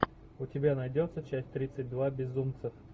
у тебя найдется часть тридцать два безумцев